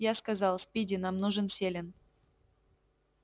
я сказал спиди нам нужен селен